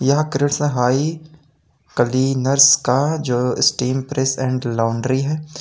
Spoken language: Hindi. यह कृष्णा हाई कलीनर्स का जो स्टीम प्रेस एंड लाउंड्री है।